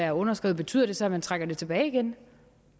har underskrevet betyder det så at man trækker det tilbage igen